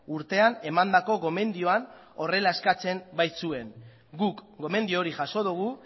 urtean emandako gomendioan horrela eskatzen baitzuen guk gomendio hori jaso dugu